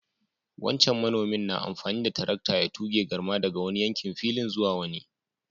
Wancan manomin na amfani da tarakta ya túge garma daga wani yankin filin zuwa wani.